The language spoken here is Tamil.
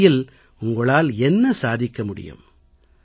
இந்த நிலையில் உங்களால் என்ன சாதிக்க முடியும்